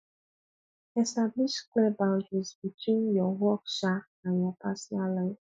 establish clear boundaries between your work um and your personal life